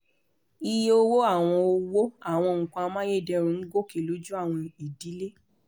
iye owó àwọn owó àwọn nǹkan amáyédẹrùn ń gòkè lójú àwọ̀n idílé